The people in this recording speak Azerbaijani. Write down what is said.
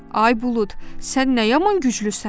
Ay bulud, sən nə yaman güclüsən?